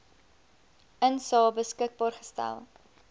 insae beskikbaar gestel